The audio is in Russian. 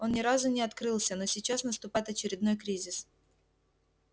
он ни разу не открылся но сейчас наступает очередной кризис